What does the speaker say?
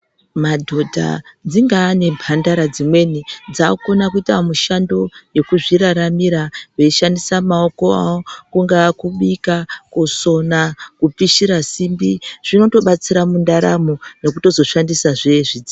Madhodha dzingaa nembandara dzimweni dzakukona kuitao mushando yekuzviraramira veishandisa maoko awo, kungaa kubika, kusona kupishira simbi zvinondobatsira mundaramo nekutozoshandisazve zvi..